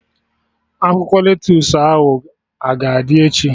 Akwụkwọ lettusu ahụ a ga-adị echi?